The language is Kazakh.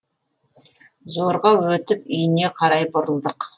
зорға өтіп үйіне қарай бұрылдық